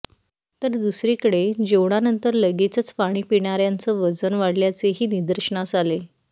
तर दुसरीकडे जेवणानंतर लगेचच पाणी पिणाऱ्यांचं वजन वाढल्याचेही निदर्शनास आले